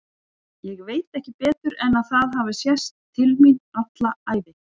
Ég veit ekki betur en að það hafi sést til mín alla ævi.